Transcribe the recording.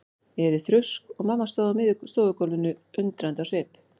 Ég heyrði þrusk og mamma stóð á miðju stofugólfinu undrandi á svip.